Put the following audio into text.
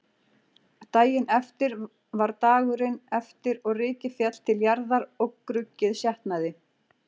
Daginn eftir var dagurinn eftir og rykið féll til jarðar og gruggið sjatnaði.